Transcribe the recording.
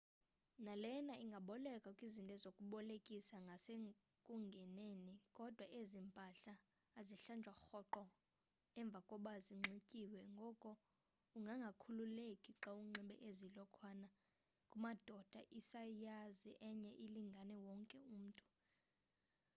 nalena ingabolekwa kwizinto zokubolekisa ngasekungeneni kodwa ezi mpahla azihlanjwa rhoqo emva koba zinxityiwe ngoko ungangakhululeki xa unxibe ezi lokhwana kumadoda isayizi enye ilingana wonke umntu